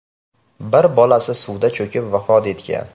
Bir bolasi suvda cho‘kib vafot etgan.